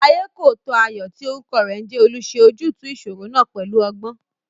Ayékòótọ́ Ayọ̀ tí orúkọ rẹ̀ ń jẹ́ Olú ṣe ojútùú ìṣòro náà pẹ̀lú ọgbọ́n